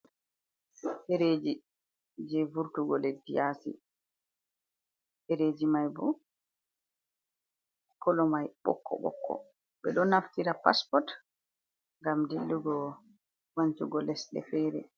Ɗo ɗereji je vurtugo leddi yasi, ɗereji mai bo kolo mai bokko bokko, ɓe ɗo naftira paspot ngam dillugo wancugo lesɗe fere.